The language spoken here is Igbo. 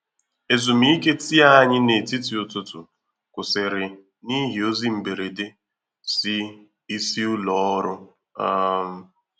Ezùmíkè tii ànyị n’etiti ụtụtụ kwụsịrị n’ihi ozi mberede si isi ụlọ ọrụ. um